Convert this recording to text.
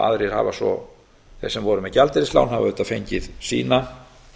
aðrir hafa svo þeir sem voru með gjaldeyrislán hafa auðvitað fengið sína